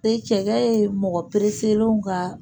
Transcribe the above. E cɛ ye mɔgɔ perefelenw ka